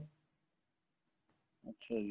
ਅੱਛਿਆ ਜੀ